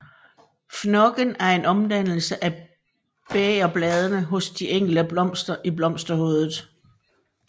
Fnokken er en omdannelse af bægerbladene hos de enkelte blomster i blomsterhovedet